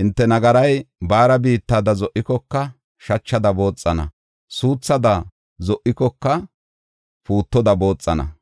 Hinte nagaray baara biittada zo7ikoka, shachada booxana; suuthada zo7ikoka puutoda booxana.